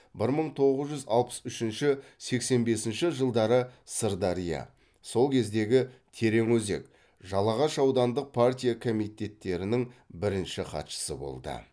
бір мың тоғыз жүз алпыс үшінші сексен бесінші жылдары сырдария сол кездегі тереңөзек жалағаш аудандық партия комитеттерінің бірінші хатшысы болды